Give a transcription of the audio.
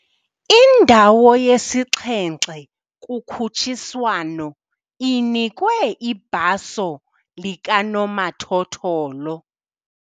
Indawo yesixhenxe kukhutshiswano inikwe ibhaso likanomathotholo.